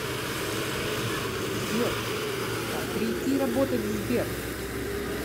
сбер как прийти работать в сбер